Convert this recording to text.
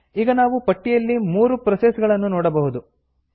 ಈಗ ನಾವು ಪಟ್ಟಿಯಲ್ಲಿ 3 ಪ್ರೋಸೆಸ್ ಗಳನ್ನು ನೋಡಬಹುದು